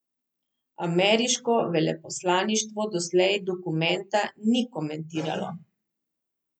Ameriško veleposlaništvo doslej dokumenta ni komentiralo.